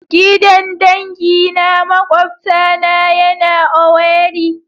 Gidan dangi na makwabtana yana owerri.